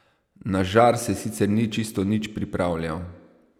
Na žar se sicer ni čisto nič pripravljal.